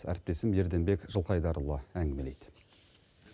әріптесім ерденбек жылқайдарұлы әңгімелейді